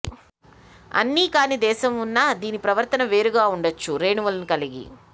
అన్ని కాని దేశం ఉన్నా దీని ప్రవర్తన వేరుగా ఉండవచ్చు రేణువులను కలిగి